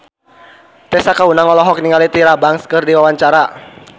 Tessa Kaunang olohok ningali Tyra Banks keur diwawancara